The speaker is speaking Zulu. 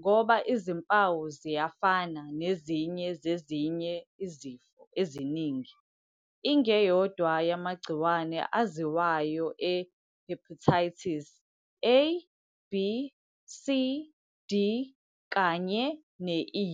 ngoba izimpawu ziyafana nezinye zezinye izifo eziningi. Ingeyodwa yamagciwane aziwayo e-hepatitis- A, B, C, D, kanye ne- E.